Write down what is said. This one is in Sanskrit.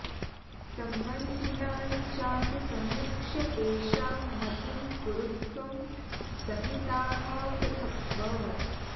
संबन्धितां चापि समीक्ष्य तेषां मतिं कुरुध्वं सहिताः पृथक्व